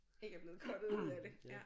ikke er blevet cuttet ud af det ja